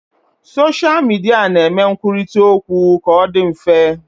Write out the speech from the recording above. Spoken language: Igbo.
Soshal midia na-eme nkwurita okwu ka ọ dị mfe